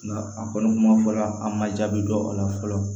Nka a kɔni kuma fɔla an ma jaabi dɔ o la fɔlɔ